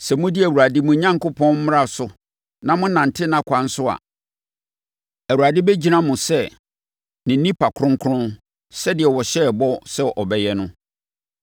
Sɛ modi Awurade, mo Onyankopɔn, mmara no so na monante nʼakwan so a, Awurade bɛgyina mo sɛ ne nnipa kronkron sɛdeɛ ɔhyɛɛ mo bɔ sɛ ɔbɛyɛ no.